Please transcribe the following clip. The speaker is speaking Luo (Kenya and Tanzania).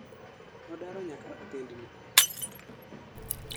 Nodaro nyaka otendni